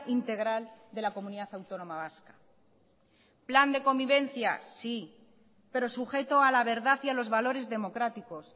integral de la comunidad autónoma vasca plan de convivencia sí pero sujeto a la verdad y a los valores democráticos